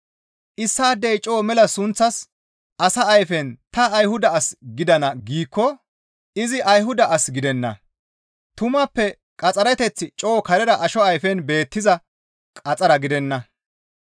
Issaadey coo mela sunththas asa ayfen ta Ayhuda as gidana giikko izi Ayhuda as gidenna; tumappe qaxxereteththi coo karera asho ayfen beettiza qaxxara gidenna.